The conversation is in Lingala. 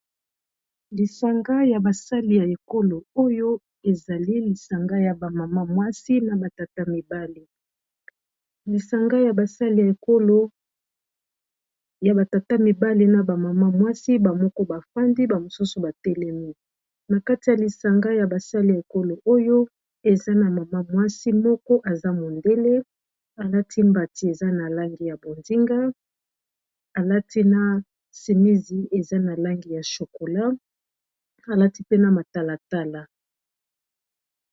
Lisanga ya ba sali ya ekolo oyo ezali lisanga ya ba mama mwasi na ba tata mibali lisanga yaba sali ya ekolo yaba tata mibali na ba mama mwasi ba moko ba fandi ba mosusu ba telemi na kati ya lisanga ya basali ya ekolo oyo eza na mama mwasi moko aza mondele alati mbati eza na langi ya bonzinga alati na simisi eza na langi ya chokola alati mpe na matalatala.